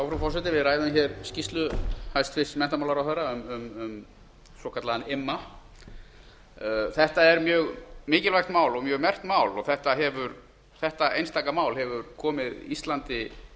frú forseti við ræðum skýrslu hæstvirts menntamálaráðherra um svokallaðan imma þetta er mjög mikilvægt mál og mjög merkt mál og þetta einstaka mál hefur komið íslandi